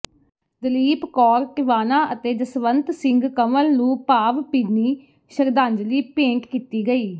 ਦਲੀਪ ਕੌਰ ਟਿਵਾਣਾ ਅਤੇ ਜਸਵੰਤ ਸਿੰਘ ਕੰਵਲ ਨੂੰ ਭਾਵ ਭਿੰਨੀ ਸ਼ਰਧਾਜਲੀ ਭੇਂਟ ਕੀਤੀ ਗਈ